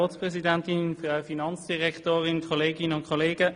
Nur so sind wir enkeltauglich.